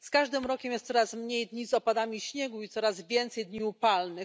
Z każdym rokiem jest coraz mniej dni z opadami śniegu i coraz więcej dni upalnych.